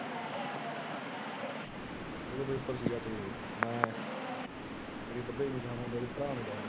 ਵਿਕ ਦੇ ਹੀ ਨਹੀਂ ।